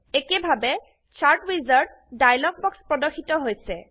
একেভাবে chart wizard dialog box প্রর্দশিত হৈছে